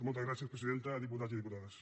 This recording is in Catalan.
moltes gràcies presidenta diputats i diputades